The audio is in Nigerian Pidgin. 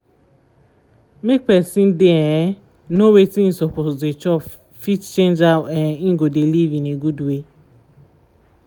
make person dey um know wetin e suppose dey chop fit change how um e go dey live in a good way